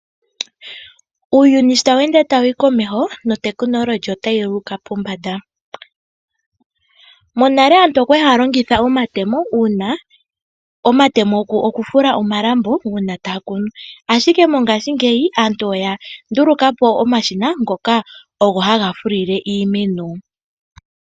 Uuyuni sho tawu ende tawu yi komeho, notekinolohi otayi uka pombanda. Monale aantu okwali haya longitha omatemo oku fula omalambo uuna taya kunu, ashike mongaashingeyi aantu oya nduluka po omashina, ngoka ogo haga fulile iimeno.